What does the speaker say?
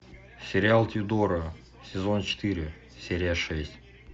сериал тюдоры сезон четыре серия шесть